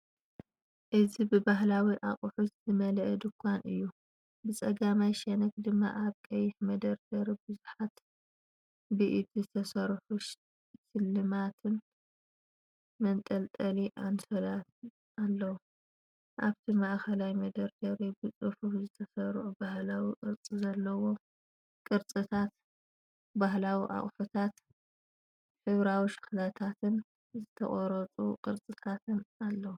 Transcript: እዚ ብባህላዊ ኣቑሑት ዝመልአ ድኳን እዩ። ብጸጋማይ ሸነኽ ድማ ኣብ ቀይሕ መደርደሪታት ብዙሓት ብኢድ ዝተሰርሑ ስልማትን መንጠልጠሊ ኣንሶላትን ኣለዉ። ኣብቲ ማእከላይ መደርደሪ፡ ብጽፉፍ ዝተሰርዑ ባህላዊ ቅርጺ ዘለዎም ቅርጻታት፡ ባህላዊ ኣቁሕታት፡ ሕብራዊ ሸኽላታትን ዝተቐርጹ ቅርጻታትን ኣለዉ።